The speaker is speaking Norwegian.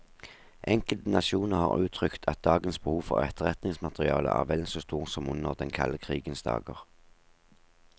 Enkelte nasjoner har uttrykt at dagens behov for etterretningsmateriale er vel så stort som under den kalde krigens dager.